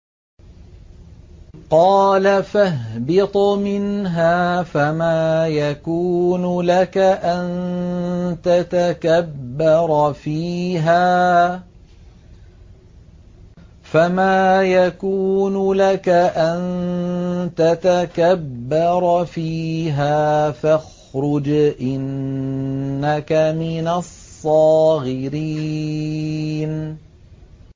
قَالَ فَاهْبِطْ مِنْهَا فَمَا يَكُونُ لَكَ أَن تَتَكَبَّرَ فِيهَا فَاخْرُجْ إِنَّكَ مِنَ الصَّاغِرِينَ